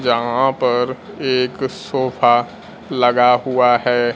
जहां पर एक सोफा लगा हुआ है।